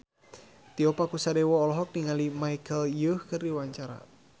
Tio Pakusadewo olohok ningali Michelle Yeoh keur diwawancara